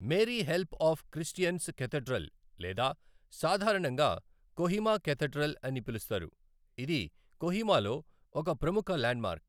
Mary help of Christians cathedral లేదా సాధారణంగా Kohima cathedral అని పిలుస్తారు, ఇది కొహిమాలో ఒక ప్రముఖ ల్యాండ్మార్క్.